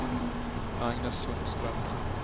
Agnes Sundström